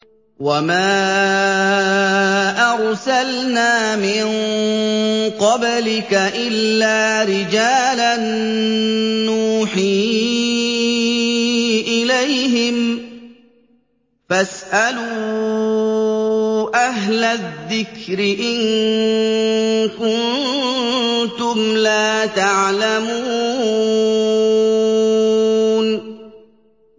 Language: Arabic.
وَمَا أَرْسَلْنَا مِن قَبْلِكَ إِلَّا رِجَالًا نُّوحِي إِلَيْهِمْ ۚ فَاسْأَلُوا أَهْلَ الذِّكْرِ إِن كُنتُمْ لَا تَعْلَمُونَ